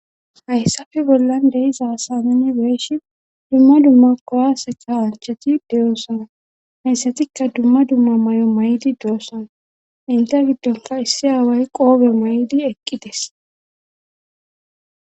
Hayssafe bollan deizaasanani weeshi dumma dumma kowaseka hancheti deyoossana hayssatikka dumma dumma may'o may'di doossana inte giddonka issi aaway qoobe maydi eqqides.